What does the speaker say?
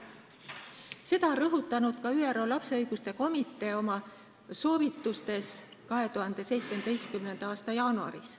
Seda on rõhutanud ka ÜRO Lapse Õiguste Komitee oma soovitustes 2017. aasta jaanuaris.